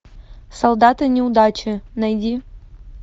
солдаты неудачи найди